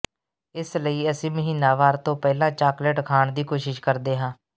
ਇਸ ਲਈ ਅਸੀਂ ਮਹੀਨਾਵਾਰ ਤੋਂ ਪਹਿਲਾਂ ਚਾਕਲੇਟ ਖਾਣ ਦੀ ਕੋਸ਼ਿਸ਼ ਕਰਦੇ ਹਾਂ